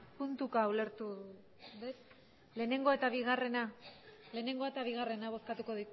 puntuka ulertu dut lehenengo eta bigarrena lehenengoa eta bigarrena bozkatuko